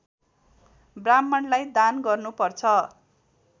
ब्राह्मणलाई दान गर्नुपर्छ